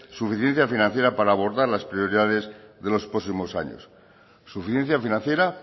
suficiencia financiera para abordar las prioridades de los próximos años suficiencia financiera